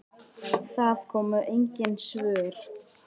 Það komu engin svör.